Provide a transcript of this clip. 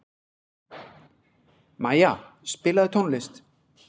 Maja, spilaðu tónlist.